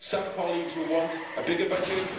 Some colleagues will want a bigger budget